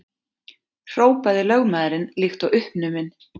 hrópaði lögmaðurinn líkt og uppnuminn.